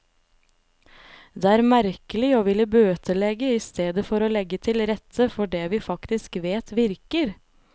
Det er merkelig å ville bøtelegge i stedet for å legge til rette for det vi faktisk vet virker.